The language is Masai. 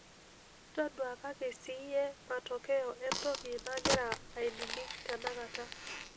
taduakaki ssiiyie matokeyo entoki nagira ainining' tenakata